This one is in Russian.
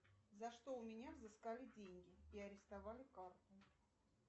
за что у меня взыскали деньги и арестовали карту